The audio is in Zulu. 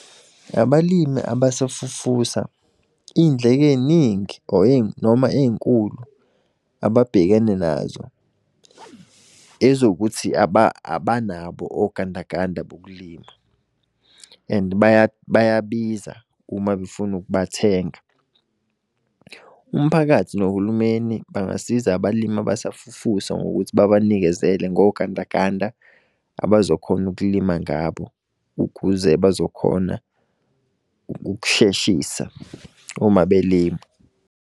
Abalimi abasafufusa iy'ndleko ey'ningi or noma ey'nkulu ababhekene nazo, ezokuthi abanabo ogandaganda bokulima and bayabiza uma befuna ukubathenga. Umphakathi nohulumeni, bangasiza abalimi abasafufusa ngokuthi babanikezele ngogandaganda abazokhona ukulima ngabo, ukuze bazokhona ukusheshisa uma belima.